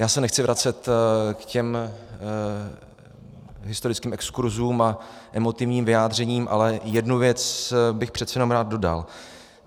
Já se nechci vracet k těm historickým exkurzům a emotivním vyjádřením, ale jednu věc bych přeci jenom rád dodal.